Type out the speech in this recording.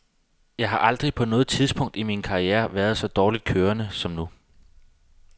Jeg har aldrig på noget tidspunkt i min karriere været så dårligt kørende som nu.